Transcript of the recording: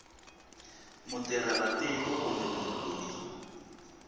mutirhela tiko kumbe munhu loyi